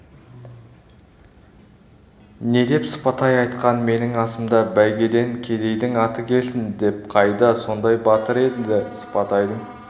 не деп сыпатай айтқан менің асымда бәйгеден кедейдің аты келсін деп қайда сондай батыр енді сыпатайдың